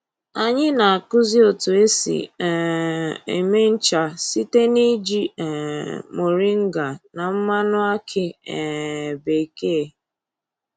Anyị na-akụzi otu esi um eme ncha site n'iji um mọrịnga na mmanụ akị um bekee